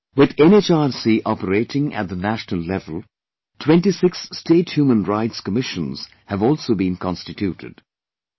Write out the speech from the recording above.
Today, with NHRC operating at the national level, 26 State Human Rights Commissions have also been constituted